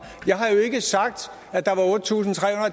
at der var otte tusind tre